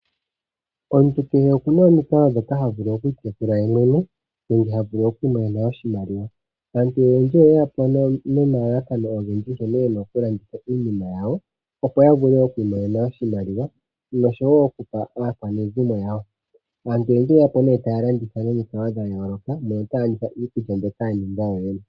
Omuntu kehe okuna omikalo dhoka ha vulu oku ikwathela yemwene nenge ha vulu omu imonena oshimaliwa Aantu oyendji oyeyapo nomalalakano ogendji nkene yena okulanditha iinima yawo, opo ya vule oku imonena oshimaliwa, noshowo okupa aakwanezimo yawo. Aantu oyendji oyeya po nee nomikalo taya landitha iinima ya yooloka, notaya landitha iinima mbyoma ya ninga yoyene.